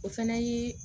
O fana ye